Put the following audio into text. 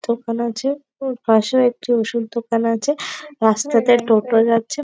দোকান আছে পাশেও একটি ওষুধ দোকান আছে রাস্তাতে টোটো যাচ্ছে।